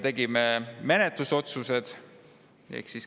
Tegime menetlusotsused.